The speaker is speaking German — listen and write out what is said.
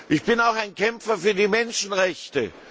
Ich bin auch ein Kämpfer für die Menschenrechte.